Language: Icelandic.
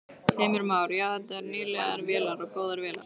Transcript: Heimir Már: Já, þetta eru nýlegar vélar og góðar vélar?